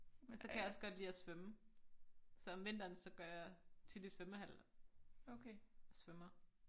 Så kan jeg også godt lide at svømme så om vinteren så går jeg tit i svømmehal og svømmer